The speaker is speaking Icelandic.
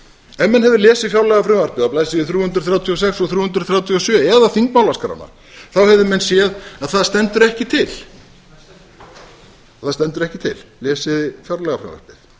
hefðu lesið fjárlagafrumvarpið á blaðsíðu þrjú hundruð þrjátíu og sex og þrjú hundruð þrjátíu og sjö eða þingmálaskrána þá hefðu menn séð að það stendur ekki til lesið þið fjárlagafrumvarpið